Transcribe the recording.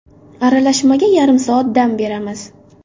Aralashmaga yarim soat dam beramiz.